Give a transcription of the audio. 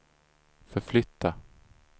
förflytta